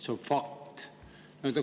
See on fakt.